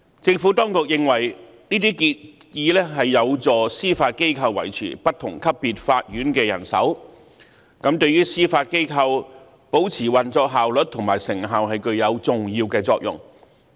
政府當局認為，這些建議有助司法機構維持不同級別法院的人手，對於司法機構保持運作效率及成效具有重要的作用。